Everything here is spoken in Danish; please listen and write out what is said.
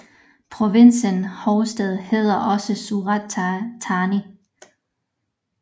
Provinsens hovedstad hedder også Surat Thani